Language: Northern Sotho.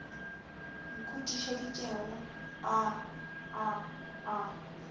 mo khutišeditšeng a a a